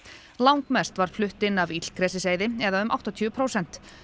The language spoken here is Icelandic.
langmest var flutt inn af illgresiseyði eða um áttatíu prósent